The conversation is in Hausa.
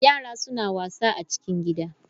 Yara suna wasa a cikin gida.